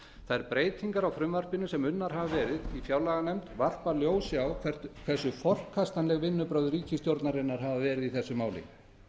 þær breytingar á frumvarpinu sem unnar hafa verið í fjárlaganefnd varpa ljósi á það hversu forkastanleg vinnubrögð ríkisstjórnarinnar hafa verið í þessu máli